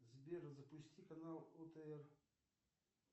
сбер запусти канал отр